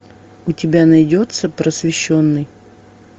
у тебя найдется просвещенный